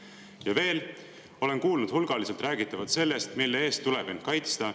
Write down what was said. Ja veel olen kuulnud hulgaliselt räägitavat sellest, mille eest tuleb end kaitsta.